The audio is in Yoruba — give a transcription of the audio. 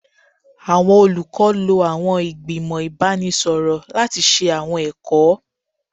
Awọn olukọ lo awọn igbimọ ibanisọrọ lati ṣe awọn ẹkọ